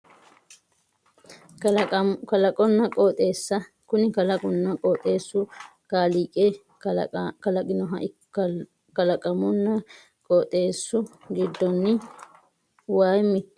Kalaqonna qooxeessa kuni kalaqunna qooxeessu kaaliiqi kalaqinoho kalaqunna qooxeessu giddonni wayi mittoho wayi hoogiha ikkiro manchi beetti heere afara didandaanno